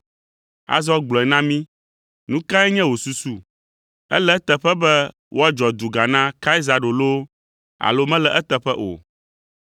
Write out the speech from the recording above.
Azɔ gblɔe na mí, nu kae nye wò susu? Ele eteƒe be woadzɔ duga na Kaisaro loo alo mele eteƒe o?”